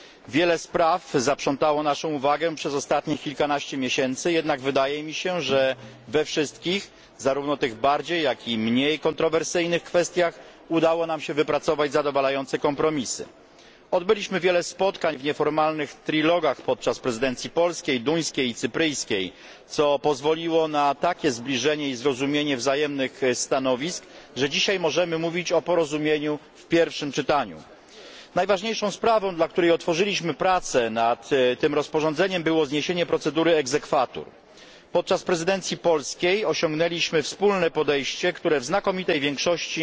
Wiele spraw zaprzątało naszą uwagę przez ostatnich kilkanaście miesięcy, jednak wydaje mi się, że we wszystkich, zarówno tych bardziej, jak i mniej kontrowersyjnych kwestiach udało nam się wypracować zadowalające kompromisy. Odbyliśmy wiele spotkań w nieformalnych rozmowach trójstronnych podczas prezydencji polskiej, duńskiej i cypryjskiej, co pozwoliło na takie zbliżenie i zrozumienie wzajemnych stanowisk, że dzisiaj możemy mówić o porozumieniu w pierwszym czytaniu. Najważniejszą sprawą, dla której otworzyliśmy prace nad tym rozporządzeniem, było zniesienie procedury exequatur Podczas prezydencji polskiej osiągnęliśmy wspólne podejście, które w znakomitej większości